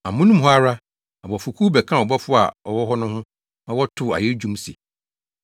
Amono mu hɔ ara, abɔfokuw bɛkaa ɔbɔfo a ɔwɔ hɔ no ho ma wɔtoo ayeyi dwom se,